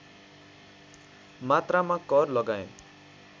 मात्रामा कर लगाए